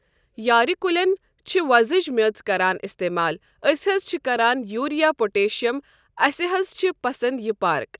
یارِ کُلٮ۪ن چھِ وۄزٕج میٚژ کَران استعمال أسۍ حظ چھِ کَران یوٗریا پۄٹیشیَم اَسہِ حظ چھِ پسَنٛد یہِ پارک۔